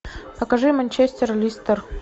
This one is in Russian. покажи манчестер лестер